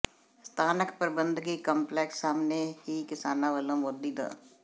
ਸਥਾਨਕ ਪ੍ਰਬੰਧਕੀ ਕੰਪਲੈਕਸ ਸਾਹਮਣੇ ਹੀ ਕਿਸਾਨਾਂ ਵਲੋਂ ਮੋਦੀ ਦ